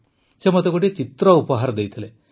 ସେ ମୋତେ ଗୋଟିଏ ଚିତ୍ର ଉପହାର ଦେଇଥିଲେ